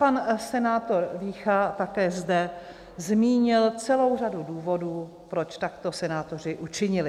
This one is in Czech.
Pan senátor Vícha také zde zmínil celou řadu důvodů, proč takto senátoři učinili.